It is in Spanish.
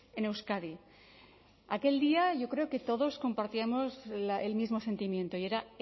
en euskadi aquel día yo creo que todos compartíamos el mismo sentimiento y era